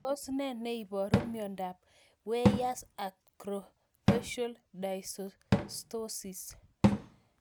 Tos nee neiparu miondop Weyers acrofacial dysostosis?